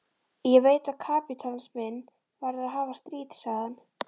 Ég veit að kapítalisminn verður að hafa stríð, sagði hann.